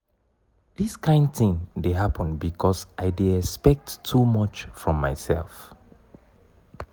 dis kain tin dey happen because i dey expect too much from mysef.